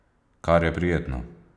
Kar je prijetno.